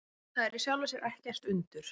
Það er í sjálfu sér ekkert undur.